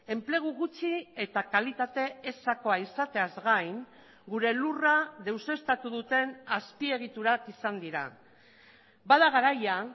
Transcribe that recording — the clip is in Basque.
enplegu gutxi eta kalitate ezakoa izateaz gain gure lurra deuseztatu duten azpiegiturak izan dira bada garaia